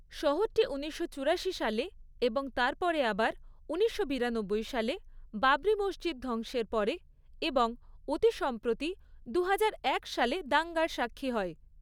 শহরটি উনিশশো চুরাশি সালে, এবং তারপরে আবার উনিশশো বিরানব্বই সালে, বাবরি মসজিদ ধ্বংসের পরে এবং অতি সম্প্রতি, দু হাজার এক সালে দাঙ্গার সাক্ষী হয়।